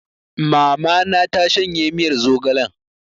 Mama na ta shanye miyar zogalen